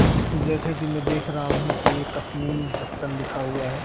जैसे की मैं देख रहा हूं की ये कटनी जक्शन लिखा हुआ है।